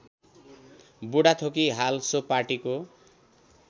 बुढाथोकी हाल सो पार्टीको